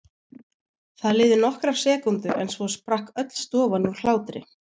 Það liðu nokkrar sekúndur en svo sprakk öll stofan úr hlátri.